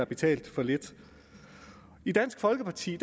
betalt for lidt i dansk folkeparti